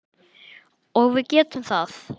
Og við getum það.